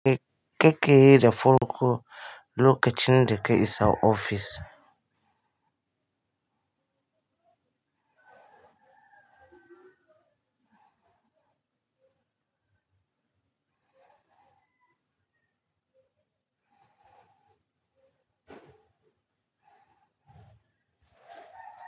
Kake yi da farkonlokacin da ka isa ofis.